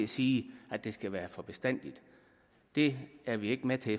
sige at det skal være for bestandig og det er vi ikke med til